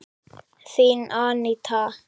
Þín, Aníta.